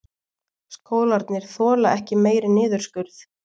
Skólarnir þola ekki meiri niðurskurð